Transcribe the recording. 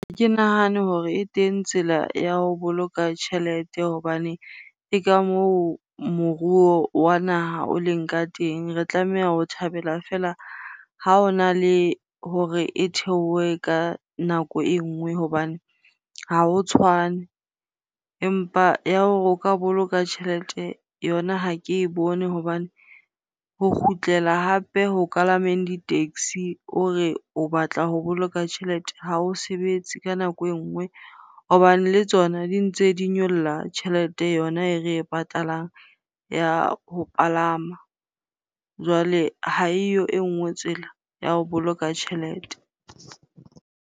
Ha ke nahane hore e teng tsela ya ho boloka tjhelete hobane ke ka moo moruo wa naha o leng ka teng. Re tlameha ho thabela fela ha ona le hore e theohe ka nako e nngwe hobane ha o tshwane. Empa ya hore o ka boloka tjhelete yona ha ke e bone hobane ho kgutlela hape ho kalameng di-taxi o re o batla ho boloka tjhelete ha o sebetse ka nako engwe hobane le tsona di ntse di nyolla tjhelete yona e re e patalang ya ho palama. Jwale ha eyo e nngwe tsela ya ho boloka tjhelete.